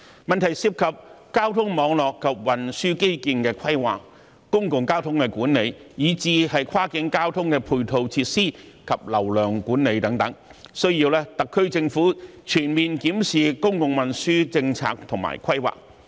問題涉及交通網絡及運輸基建的規劃、公共交通管理，以至跨境交通的配套設施及流量管理等，需要特區政府全面檢視公共運輸政策和規劃。